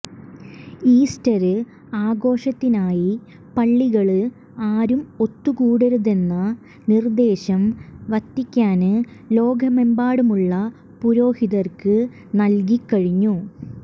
Easter ആഘോഷത്തിനായി പള്ളികളില് ആരും ഒത്തുകൂടരുതെന്ന നിര്ദ്ദേശം വത്തിക്കാന് ലോകമെമ്പാടുമുള്ള പുരോഹിതര്ക്ക് നല്കി കഴിഞ്ഞു